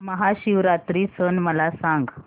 महाशिवरात्री सण मला सांग